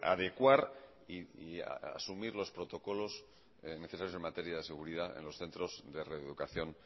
adecuar y asumir los protocolos necesarios en materia de seguridad en los centro de reeducación